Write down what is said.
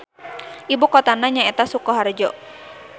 Ibukotana nyaeta Sukoharjo.